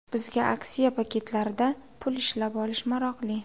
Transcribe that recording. Bizga aksiya paketlarida pul ishlab olish maroqli.